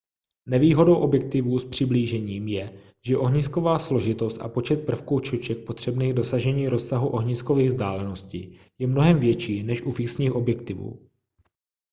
nevýhodou objektivů s přiblížením je že ohnisková složitost a počet prvků čoček potřebných k dosažení rozsahu ohniskových vzdáleností je mnohem větší než u fixních objektivů